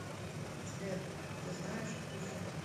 сбер ты знаешь кусю